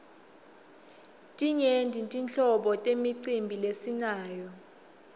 timyenti tinhlobo temicimbi lesinayo